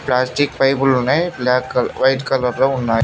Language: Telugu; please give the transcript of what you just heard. ప్లాస్టిక్ పైప్లు ఉన్నాయి వైట్ కలర్ లో ఉన్నాయి.